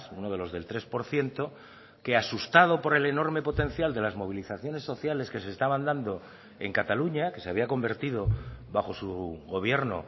uno de los del tres por ciento que asustado por el enorme potencial de las movilizaciones sociales que se estaban dando en cataluña que se había convertido bajo su gobierno